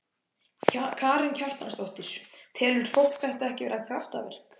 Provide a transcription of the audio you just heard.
Karen Kjartansdóttir: Telur fólk þetta ekki vera kraftaverk?